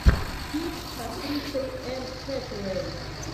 фильм с актрисой энн хэтэуэй